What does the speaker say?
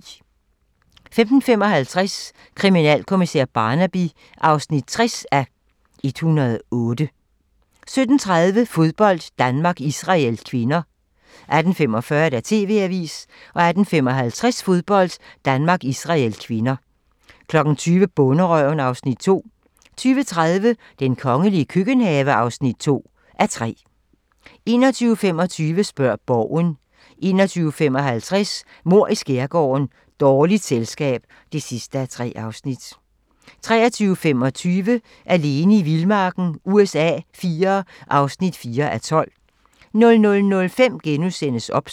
15:55: Kriminalkommissær Barnaby (60:108) 17:30: Fodbold: Danmark-Israel (k) 18:45: TV-avisen 18:55: Fodbold: Danmark-Israel (k) 20:00: Bonderøven (Afs. 2) 20:30: Den kongelige køkkenhave (2:3) 21:25: Spørg Borgen 21:55: Mord i skærgården: Dårligt selskab (3:3) 23:25: Alene i vildmarken USA IV (4:12) 00:05: OBS *